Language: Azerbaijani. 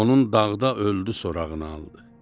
Onun dağda öldü sorağını aldı.